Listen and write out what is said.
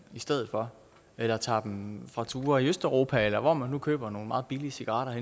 i stedet for eller tager dem med fra ture i østeuropa eller hvor man nu køber nogle meget billige cigaretter